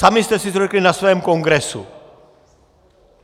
Sami jste si to řekli na svém kongresu.